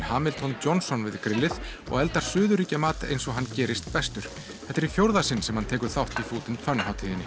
Hamilton Johnson við grillið og eldar eins og hann gerist bestur þetta er í fjórða sinn sem hann tekur þátt í food and Fun hátíðinni